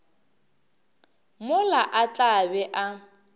mola a tla be a